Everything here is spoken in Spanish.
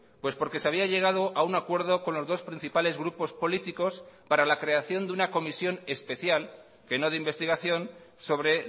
pues porque se había llegado a un acuerdo con los dos principales grupos políticos para la creación de una comisión especial que no de investigación sobre